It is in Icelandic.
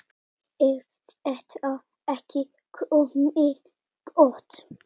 Er þetta ekki komið gott?